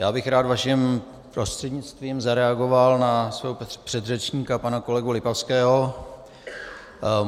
Já bych rád vaším prostřednictvím zareagoval na svého předřečníka, pana kolegu Lipavského.